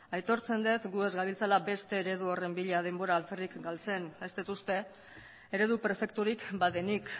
aitortzen dut gu ez gabiltzala beste eredu horren bila denbora alferrik galtzen ez dut uste eredu perfekturik badenik